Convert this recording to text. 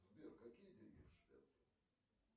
сбер какие деньги в швеции